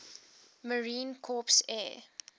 marine corps air